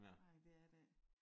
Nej det er der ikke